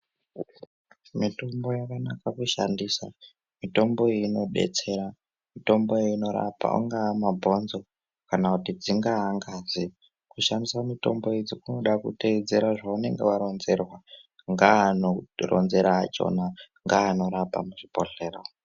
Mitombo yakanaka kushandisa, mitomboyi inodetsera. Mitomboyi inorapa, angaa mabhonzo, kana kuti dzingaa ngazi. Kushandisa mitombo idzi kunoda kuteedzera zvaunenge waronzerwa, ngeanokuronzera akhona, ngeanorapa muchibhedhlera umo.